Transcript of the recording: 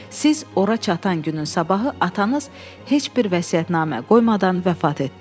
Siz ora çatan günün sabahı atanız heç bir vəsiyyətnamə qoymadan vəfat etdi.